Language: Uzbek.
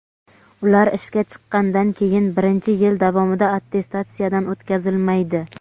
ular ishga chiqqandan keyingi birinchi yil davomida attestatsiyadan o‘tkazilmaydi.